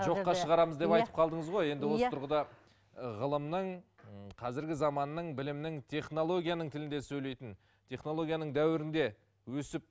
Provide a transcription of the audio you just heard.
жоққа шығарамыз деп айтып қалдыңыз ғой енді осы тұрғыда ғылымның м қазіргі заманның білімнің технологияның тілінде сөйлейтін технологияның дәуірінде өсіп